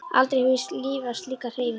Aldrei hefi ég lifað slíka hreyfingu.